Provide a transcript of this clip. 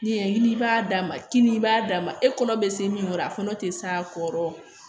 Ni ye i b'a d'a ma kini i b'a d'a ma e kɔnɔ bɛ se min kɔrɔ a kɔnɔ te s'a kɔrɔ